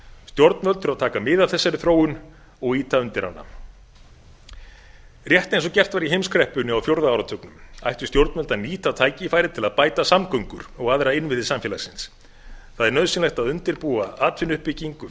stjórnvöld þurfa að taka mið af þessari þróun og ýta undir hana rétt eins og gert var í heimskreppunni á fjórða áratugnum ættu stjórnvöld að nýta tækifærið til að bæta samgöngur og aðra innviði samfélagsins það er nauðsynlegt að undirbúa atvinnuuppbyggingu